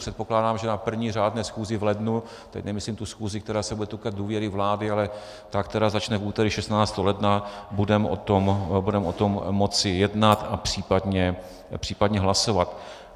Předpokládám, že na první řádné schůzi v lednu, teď nemyslím tu schůzi, která se bude týkat důvěry vlády, ale ta, která začne v úterý 16. ledna, budeme o tom moci jednat a případně hlasovat.